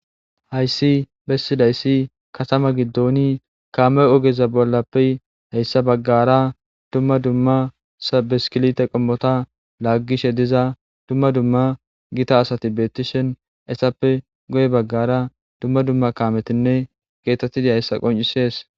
Hayisi besidayis katama giddoni kame ogeza giddopp hayisa bola gara dumma dumma bisikilite qimmota lagishe diza dumma dumma gita asati betishe dishshin eyitappe guye bagara dumma dumma kametinne getetizayisa qoncisesi